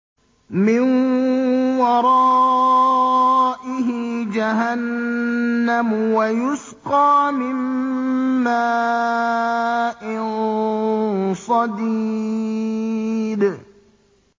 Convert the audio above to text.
مِّن وَرَائِهِ جَهَنَّمُ وَيُسْقَىٰ مِن مَّاءٍ صَدِيدٍ